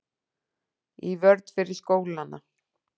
Í vörn fyrir skólana